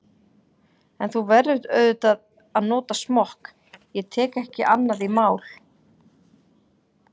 En þú verður auðvitað að nota smokk, ég tek ekki annað í mál.